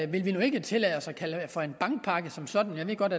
vi nu ikke tillade os at kalde for en bankpakke som sådan jeg ved godt